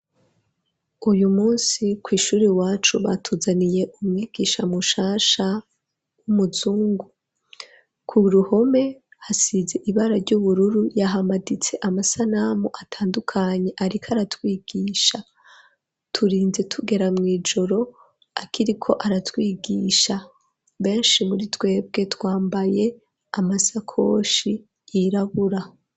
Uyu musi kw'ishuri iwacu batuzaniye umwigisha mu shasha w'umuzungu ku ruhome hasize ibara ry'ubururu yahamaditse amasanamu atandukanye ariko aratwigisha turinze tugera mw'ijoro akiriko aratwigisha beshi muri twebwe twambaye amasakoshi yirabura.